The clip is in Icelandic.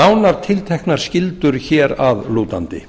nánar tilteknar skyldur hér að lútandi